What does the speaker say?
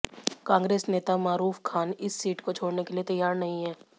कांग्रेस नेता मारूफ खान इस सीट को छोडऩे के लिए तैयार नहीं हैं